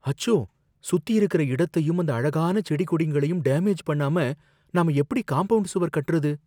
அச்சோ! சுத்தியிருக்குற இடத்தையும் இந்த அழகான செடி கொடிங்களையும் டேமேஜ் பண்ணாம நாம எப்படி காம்பவுண்ட் சுவர் கட்டுறது!